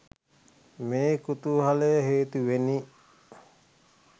මේ කුතුහලය හේතුවෙනි